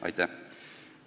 Aitäh!